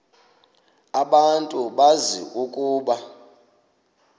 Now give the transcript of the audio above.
abantu bazi ukuba